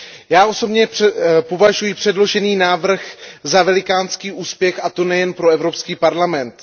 Já osobně považuji předložený návrh za velikánský úspěch, a to nejen pro Evropský parlament.